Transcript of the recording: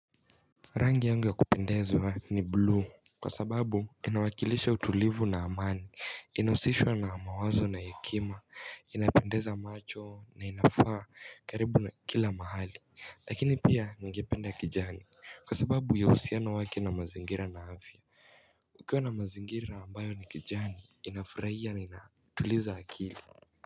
Rangi yangu ya kupendezwa ni blue kwa sababu inawakilisha utulivu na amani inausishwa na mawazo na hekima inapendeza macho na inafaa karibu na kila mahali lakini pia ningependa kijani kwa sababu ya usiano wake na mazingira na afya ukiwa na mazingira ambayo ni kijani inafuraia inatuliza akili.